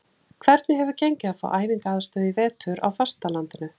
Hvernig hefur gengið að fá æfingaaðstöðu í vetur á fastalandinu?